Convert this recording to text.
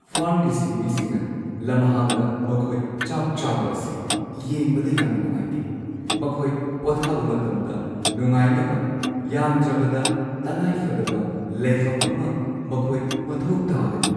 ꯐꯥꯔꯝꯒꯤ ꯁꯤꯟꯃꯤꯁꯤꯡꯅ ꯂꯝꯍꯥꯡꯗ ꯃꯈꯣꯏ ꯆꯥꯛ ꯆꯥꯕ ꯑꯁꯤ ꯌꯦꯡꯕꯗ ꯌꯥꯝꯅ ꯅꯨꯡꯉꯥꯏꯇꯦ ꯫ ꯃꯈꯣꯏ ꯄꯣꯊꯥꯕ ꯃꯇꯝꯗ ꯅꯨꯡꯉꯥꯏꯅꯕ ꯌꯥꯝꯗ꯭ꯔꯕꯗ ꯇꯉꯥꯏꯐꯗꯕ ꯂꯩꯐꯝ ꯑꯃ ꯃꯈꯣꯏ ꯃꯊꯧ ꯇꯥꯒꯅꯤ ꯫